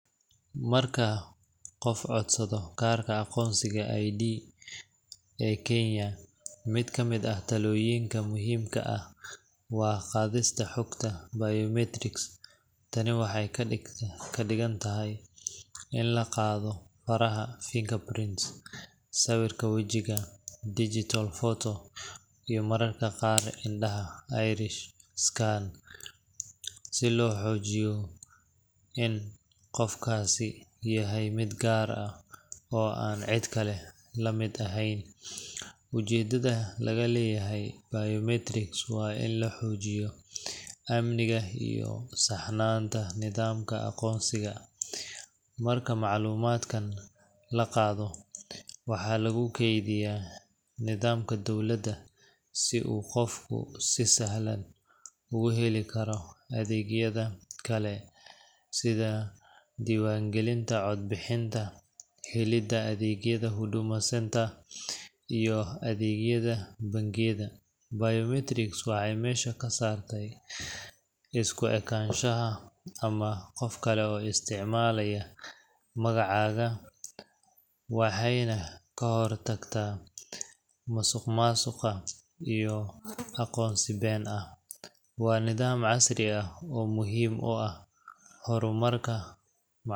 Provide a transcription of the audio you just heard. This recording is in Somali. Marka qof codsado karka aqonsiga I'd ee Kenya mid kamid ah talooyinka muhiimka waa qadista xugta biometrics tani waxay kadhigan tahay ini laqaado faraha fingerprints sawirka wejiga digital photo iyo mararka qaar indhaha eyerish scan si loo xoojiyo en qofkaasi yahay mid gaar ah oo an cid kale lamid eheyn, ujedada laga leyahay biometrics waa in laxoojiyo. amniga iyo saxnanta nidamka aqonsiga, marka macluumadkan laqaado waxaa lugu keydiyaa nidamka dowlada si u qofki si sahlan u uheli karo adeegyada kale sida diwan gelinta, codbixinta, helida adeegya huduma center iyo adeegyada bengiga. Biometrics waxay mesha kasarte isku ekanshaha ama qof kale oo isticmaalaya magacaaga waxayna kahor tagta masuqmasuqa iyo aqonsi Ben ah waa nidam casri ah oo muhim u ah horumarka